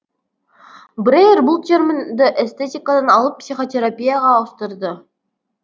брейр бұл терминді эстетикадан алып психотерапияға ауыстырды